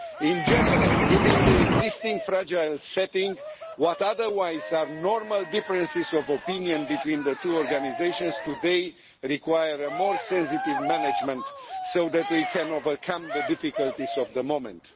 In general, given the existing fragile setting, what otherwise are normal differences of opinion between the two organisations today require more sensitive management so that we can overcome the difficulties of the moment.